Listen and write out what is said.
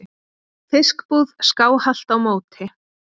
fiskbúð skáhallt á móti.